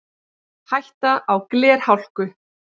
Hætta á glerhálku